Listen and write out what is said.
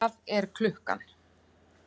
hvað er klukkan?